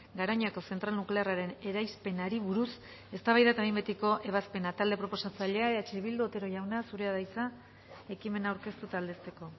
garoñako zentral nuklearraren eraispenari buruz eztabaida eta behin betiko ebazpena talde proposatzailea eh bildu otero jauna zurea da hitza ekimena aurkeztu eta aldezteko